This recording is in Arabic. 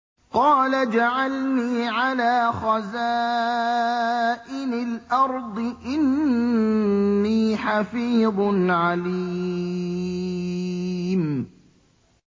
قَالَ اجْعَلْنِي عَلَىٰ خَزَائِنِ الْأَرْضِ ۖ إِنِّي حَفِيظٌ عَلِيمٌ